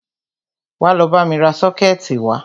Wá lọ bámi ra sọ́kẹ̀tì wá!